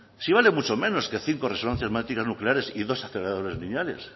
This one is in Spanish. si vale mucho menos que cinco resonancias magnéticas nucleares y dos aceleradores lineales